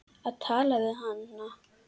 Að tala við hana!